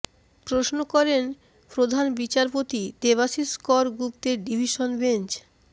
প্রশ্ন করেন প্ধান বিচারপতি দেবাশিষ কর গুপ্তের ডিভিশন বেঞ্চ